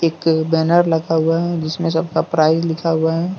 एक बैनर लगा हुआ है जिसमें सबका प्राइज लिखा हुआ है ।